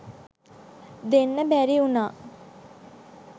දෙන්න බැරි උනා